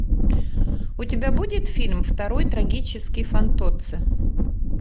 у тебя будет фильм второй трагический фантоцци